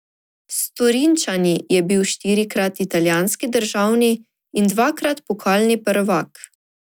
S Torinčani je bil štirikrat italijanski državni in dvakrat pokalni prvak.